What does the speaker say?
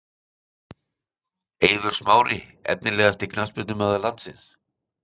Eiður Smári Efnilegasti knattspyrnumaður landsins?????????